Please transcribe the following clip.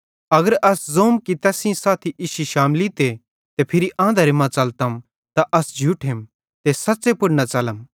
अगर अस ज़ोम कि तैस सेइं साथी इश्शी शामलीते ते फिरी आंधरे मां च़लतम त अस झूठेम ते सच़्च़े पुड़ न च़लम